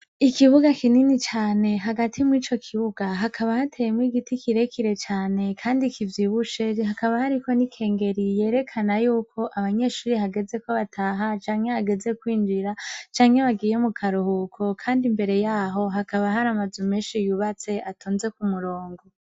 Ikibuga kinini cane hagati mw'ico kibuga hakaba hateyemwo igiti kire kire cane kandi kivyibushe, hakaba hariko n'ikengeri nini cane yerekana yuko abanyeshure hageze ko bataha canke hageze kwinjira canke hageze mu karuhuko, kandi imbere yaho hakaba har'amazu menshi yubatse kandi atonze ku murongo.